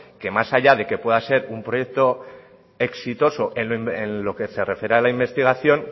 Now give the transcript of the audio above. que más allá de que pueda ser un proyecto exitoso en lo que se refiere a la investigación